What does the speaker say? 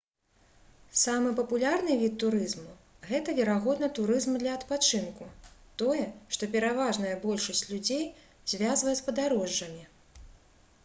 самы папулярны від турызму гэта верагодна турызм для адпачынку тое што пераважная большасць людзей звязвае з падарожжамі